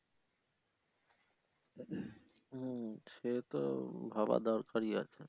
হু সেহেতু ভাবা দরকারই আছে।